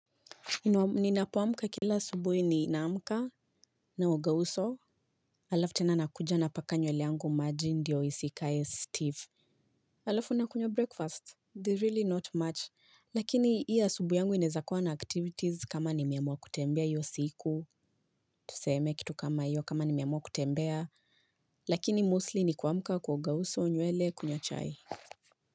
Ninapoamka kila asubuhi ninaamka naoga uso Alafu tena nakuja napaka nywele yangu maji ndiyo isikae stiff Alafu nakunywa breakfast, It is really not much. Lakini hiyo asubuhi yangu inaeza kuwa na activities kama nimeamua kutembea hiyo siku Tuseme kitu kama io kama nimeamua kutembea Lakini mostly ni kuamka kuoga uso, nywele kunywa chai.